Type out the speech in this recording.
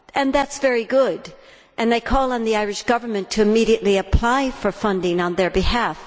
That is very good, and I call on the Irish Government to immediately apply for funding on their behalf.